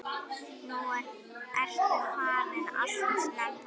Nú ertu farin alltof snemma.